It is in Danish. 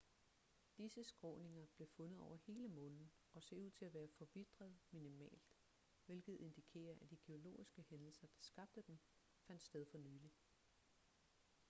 disse skråninger blev fundet over hele månen og ser ud til at være forvitret minimalt hvilket indikerer at de geologiske hændelser der skabte dem fandt sted for nylig